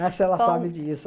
Ah, se ela sabe disso.